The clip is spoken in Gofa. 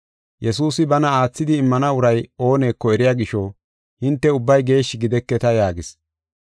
Yesuusi bana aathidi immana uray ooneko eriya gisho, “Hinte ubbay geeshshi gideketa” yaagis.